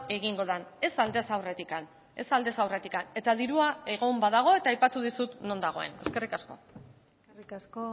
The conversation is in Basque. egingo den ez aldez aurretik ez aldez aurretik eta dirua egon badago eta aipatu dizut non dagoen eskerrik asko eskerrik asko